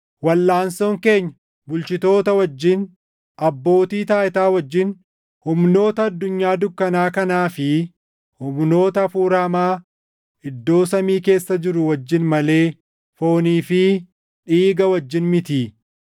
Walʼaansoon keenya bulchitoota wajjin, abbootii taayitaa wajjin, humnoota addunyaa dukkanaa kanaa fi humnoota hafuura hamaa iddoo samii keessa jiruu wajjin malee foonii fi dhiiga wajjin mitii.